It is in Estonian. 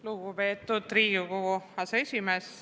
Lugupeetud Riigikogu aseesimees!